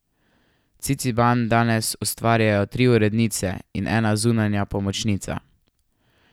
Ciciban danes ustvarjajo tri urednice in ena zunanja pomočnica.